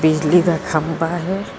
ਬਿਜਲੀ ਦਾ ਖੰਭਾ ਹੈ।